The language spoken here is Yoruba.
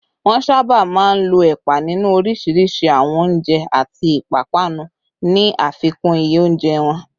Wọ́n sábà máa ń lo ẹ̀pà nínú oríṣiríṣi àwọn oúnjẹ àti ìpápánu, ní àfikún iye oúnjẹ wọn